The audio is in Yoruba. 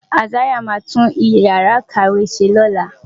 Isaiah máa tún Ìyàrá-ìkàwé ṣe lọ́la.